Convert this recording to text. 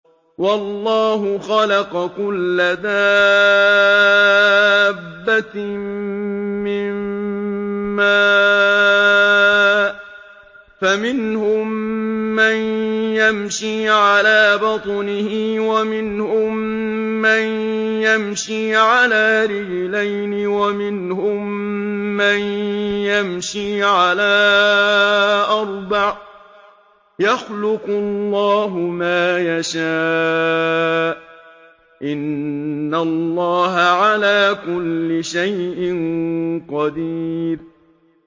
وَاللَّهُ خَلَقَ كُلَّ دَابَّةٍ مِّن مَّاءٍ ۖ فَمِنْهُم مَّن يَمْشِي عَلَىٰ بَطْنِهِ وَمِنْهُم مَّن يَمْشِي عَلَىٰ رِجْلَيْنِ وَمِنْهُم مَّن يَمْشِي عَلَىٰ أَرْبَعٍ ۚ يَخْلُقُ اللَّهُ مَا يَشَاءُ ۚ إِنَّ اللَّهَ عَلَىٰ كُلِّ شَيْءٍ قَدِيرٌ